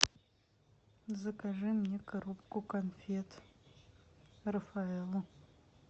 закажи мне коробку конфет рафаэлло